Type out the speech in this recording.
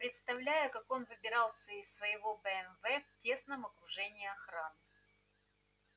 представляю как он выбирался из своего бмв в тесном окружении охраны